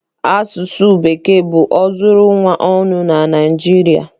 Asụsụ Bekee bụ ozuru ụwa ọnụ na Naịjirịa.